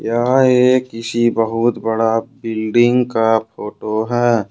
यहा ये किसी बहुत बड़ा बिल्डिंग का फोटो है।